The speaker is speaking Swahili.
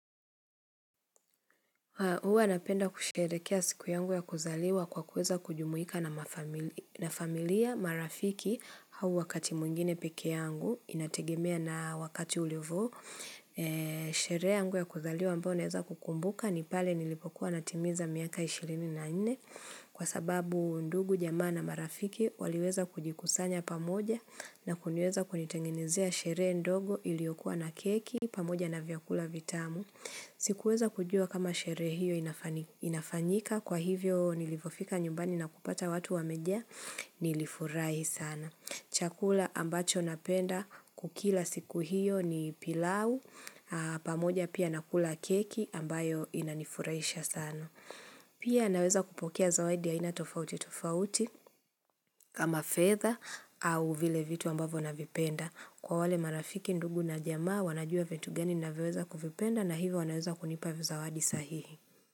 Huwa napenda kusherekea siku yangu ya kuzaliwa kwa kuweza kujumuika na familia marafiki hau wakati mwingine peke yangu. Inategemea na wakati ulivo. Sherehe yangu ya kuzaliwa ambao naeza kukumbuka ni pale nilipokuwa natimiza miaka 24 kwa sababu ndugu jamaa na marafiki waliweza kujikusanya pamoja na kuniweza kunitenginezea sherehe ndogo iliokua na keki pamoja na vyakula vitamu. Sikuweza kujua kama sherehe hiyo inafanyika kwa hivyo nilivyofika nyumbani na kupata watu wamejaa nilifurahi sana. Chakula ambacho napenda kukila siku hiyo ni pilau, pamoja pia nakula keki ambayo inanifuraisha sana. Pia naweza kupokea zawadi ya aina tofauti tofauti kama fedha au vile vitu ambavo navipenda. Kwa wale marafiki ndugu na jamaa wanajua vitu gani navyoweza kuvipenda na hivyo wanaweza kunipa vizawadi sahihi.